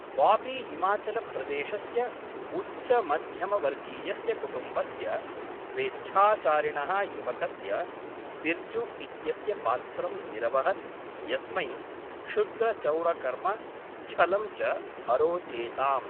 बाबी हिमाचलप्रदेशस्य उच्चमध्यमवर्गीयस्य कुटुम्बस्य स्वेच्छाचारिणः युवकस्य बिर्जु इत्यस्य पात्रं निरवहत् यस्मै क्षुद्रचौरकर्म, छलं च अरोचेताम्।